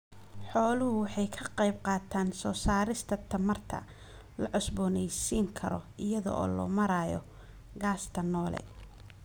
Xooluhu waxay ka qayb qaataan soo saarista tamarta la cusboonaysiin karo iyada oo loo marayo gaasta noole.